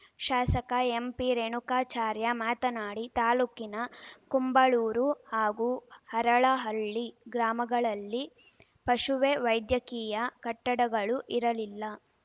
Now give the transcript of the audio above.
ಶಾಸಕ ಎಂಪಿರೇಣುಕಾಚಾರ್ಯ ಮಾತನಾಡಿ ತಾಲೂಕಿನ ಕುಂಬಳೂರು ಹಾಗೂ ಹರಳಹಳ್ಳಿ ಗ್ರಾಮಗಳಲ್ಲಿ ಪಶುವೆ ವೈದ್ಯಕೀಯ ಕಟ್ಟಡಗಳು ಇರಲಿಲ್ಲ